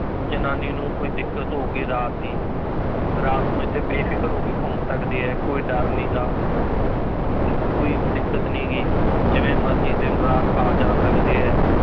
ਜਨਾਨੀ ਨੂੰ ਕੋਈ ਦਿੱਕਤ ਹੋਊਗੀ ਰਾਤ ਦੀ ਰਾਤ ਨੂੰ ਇੱਥੇ ਬੇਫ਼ਿਕਰ ਹੋ ਕੇ ਘੁੰਮ ਸਕਦੇ ਹੈ, ਕੋਈ ਡਰ ਨੀ ਗਾ ਕੋਈ ਦਿੱਕਤ ਨੀ ਗੀ ਜਿਵੇਂ ਮਰਜ਼ੀ ਦਿਨ ਰਾਤ ਆ ਜਾ ਸਕਦੇ ਹੈ